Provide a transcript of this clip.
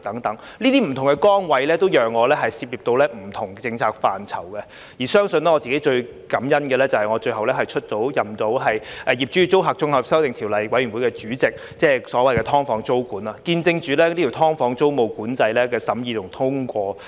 這些不同崗位都讓我涉獵不同的政策範疇，而相信我自己最感恩的，就是我最後出任《2021年業主與租客條例草案》委員會的主席，即所謂的"劏房"租管，見證着這"劏房"租務管制的審議和通過。